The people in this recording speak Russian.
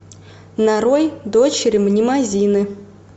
нарой дочери мнемозины